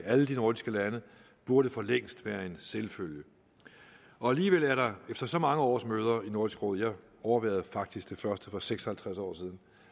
i alle de nordiske lande burde for længst være en selvfølge alligevel er der efter så mange årsmøder i nordisk råd jeg overværede faktisk det første for seks og halvtreds år siden